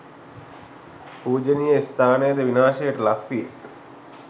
පූජනීය ස්ථානද විනාශයට ලක් විය.